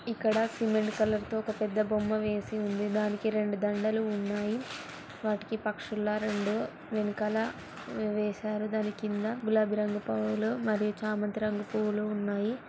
ఇక్కడ cement colour తో ఒక పెద్ద బొమ్మ వేసి ఉందిదానికి రెండు దండలు ఉన్నాయి వాటికి పక్షుల రెండు వెనకాల వేశారుదాని కింద గులాబీ రంగు పూలు మరియు చామంతి రంగు పూలు ఉన్నాయి.